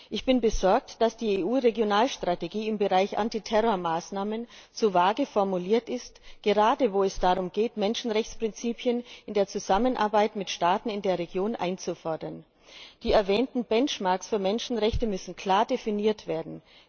Ich bin besorgt, dass die EU Regionalstrategie im Bereich Antiterror Maßnahmen zu vage formuliert ist, gerade wo es darum geht, Menschenrechtsprinzipien in der Zusammenarbeit mit Staaten in der Region einzufordern. Die erwähnten Benchmarks für Menschenrechte müssen klar definiert werden.